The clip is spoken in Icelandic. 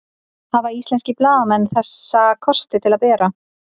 Hafa íslenskir blaðamenn þessa kosti til að bera?